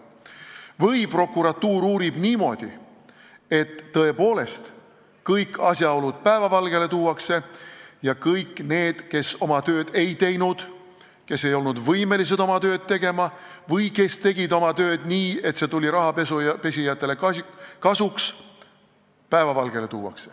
Või prokuratuur uurib niimoodi, et tõepoolest kõik asjaolud päevavalgele tuuakse ja tuuakse päevavalgele ka kõik inimesed, kes oma tööd ei teinud, kes ei olnud võimelised oma tööd tegema või kes tegid oma tööd nii, et see tuli rahapesijatele kasuks.